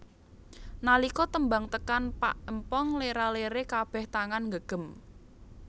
Nalika tembang tekan pak empong lera lere kabeh tangan nggegem